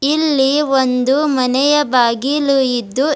ಇಲ್ಲಿ ಒಂದು ಮನೆಯ ಬಾಗಿಲು ಇದ್ದು--